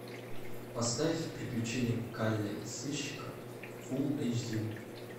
поставь приключения калле сыщика фул эйч ди